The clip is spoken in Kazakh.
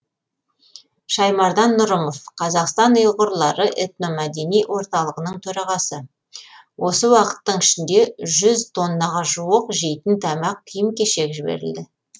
шаймардан нұрымов қазақстан ұйғырлары этномәдени орталығының төрағасы осы уақыттың ішінде жүз тоннаға жуық жейтін тамақ киім кешек жіберілді